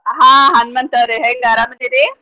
ಹಾ ಹನ್ಮಂತವ್ರೆ ಹೆಂಗ್ ಅರಾಮದಿರಿ?